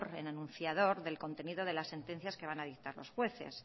en anunciador del contenido de las sentencias que van a dictar los jueces